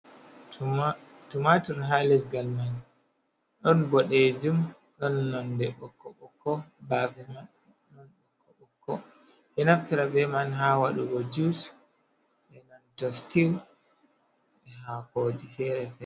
Tumaatur haa leggal man, ɗon boɗeejum, ɗon nonnde ɓokko-ɓokko, baafe man bokko-bokko, ɓe naftira bee man haa waɗugo jus e nanta stiw e haakooji feere-feere.